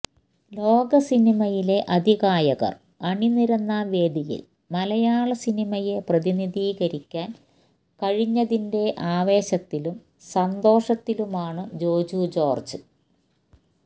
ലോകസിനിമയിലെ അതികായർ അണിനിരന്ന വേദിയിൽ മലയാള സിനിമയെ പ്രതിനിധീകരിക്കാൻ കഴിഞ്ഞതിന്റെ ആവേശത്തിലും സന്തോഷത്തിലുമാണ് ജോജു ജോർജ്